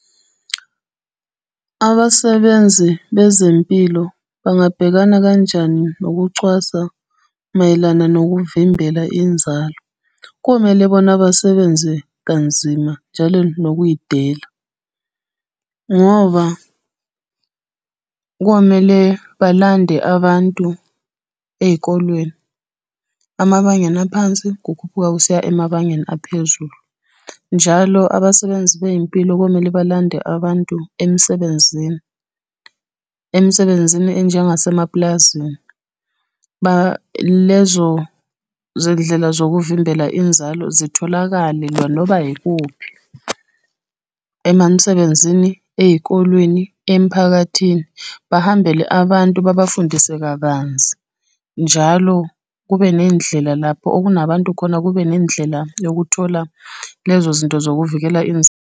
Abasebenzi bezempilo bangabhekana kanjani nokucwasa mayelana nokuvimbela inzalo? Komele bona basebenze kanzima njalo nokuy'dela. Ngoba, komele balande abantu ey'kolweni, emabangeni aphansi kukhuphuka kusiya emabangeni aphezulu. Njalo abasebenzi bey'mpilo kwamele balande abantu emsebenzini, emsebenzini enjengase mapulazini. Balezo zindlela zokuvimbela inzalo, zitholakale noba yikuphi, emamsebenzini, ey'kolweni emiphakathini, bahambele abantu babafundise kabanzi. Njalo kube nendlela lapho okunabantu khona, kube nendlela yokuthola lezo zinto zokuvikela .